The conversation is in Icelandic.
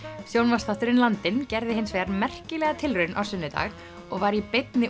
sjónvarpsþátturinn Landinn gerði hins vegar merkilega tilraun á sunnudag og var í beinni